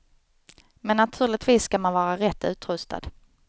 Men naturligtvis ska man vara rätt utrustad.